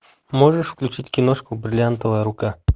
можешь включить киношку бриллиантовая рука